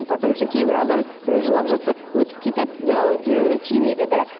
потому что кейбір адам біреу жылап жатса өтіп кетеді ы жүрегіне тимейді да